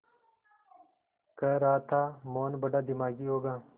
कह रहा था मोहन बड़ा दिमागी होगा